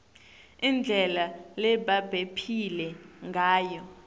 indlela lebabephila ngayo